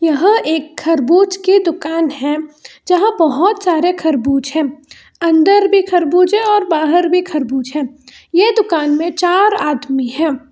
यह एक खरबूज की दुकान है जहां बहोत सारे खरबूज हैं अंदर भी खरबूज है और बाहर भी खरबूज है ये दुकान में चार आदमी है।